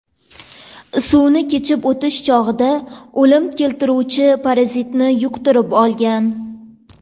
Suvni kechib o‘tish chog‘ida o‘lim keltiruvchi parazitni yuqtirib olgan.